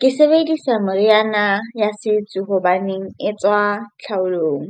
Ke sebedisa meriana ya setso hobaneng e tswa tlhaolong